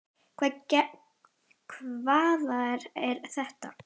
Hvaða þvaður er þetta?